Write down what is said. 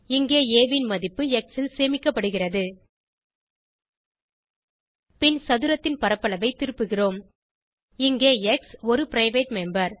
இங்கே ஆ ன் மதிப்பு எக்ஸ் ல் சேமிக்கப்படுகிறது பின் சதுரத்தின் பரப்பளவை திருப்புகிறோம் இங்கே எக்ஸ் ஒரு பிரைவேட் மெம்பர்